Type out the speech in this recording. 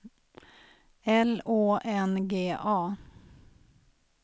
L Å N G A